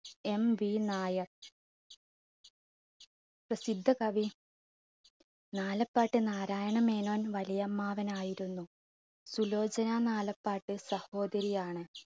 MV Nair. പ്രസിദ്ധ കവി നാലപ്പാട്ട് നാരായണൻ മേനോൻ വലിയമ്മാവനായിരുന്നു. സുലോചന നാലപ്പാട്ട് സഹോദരിയാണ്.